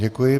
Děkuji.